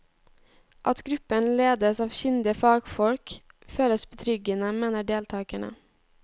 At gruppen ledes av kyndige fagfolk, føles betryggende, mener deltakerne.